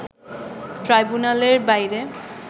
ট্রাইব্যুনালের বাইরে